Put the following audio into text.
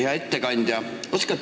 Hea ettekandja!